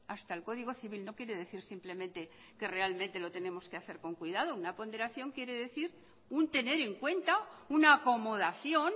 hasta el código civil no quiere decir simplemente que realmente lo tenemos que hacer con cuidado una ponderación quiere decir un tener en cuenta una acomodación